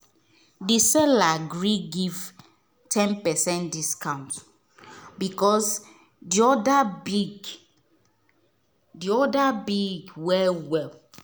the seller agree give ten percent discount because the order big the order big well well.